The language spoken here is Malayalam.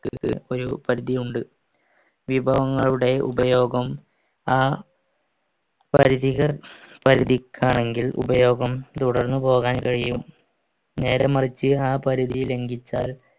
ഒരു പരിധിയുണ്ട് വിഭവങ്ങളുടെ ഉപയോഗം ആ പരിധികൾ പരിധിക്കാണെങ്കിൽ ഉപയോഗം തുടർന്നു പോകാൻ കഴിയും നേര മറിച്ച് ആ പരിധി ലംഘിച്ചാൽ